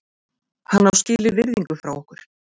Hann á skilið virðingu frá okkur.